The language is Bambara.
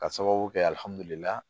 Ka sababu kɛ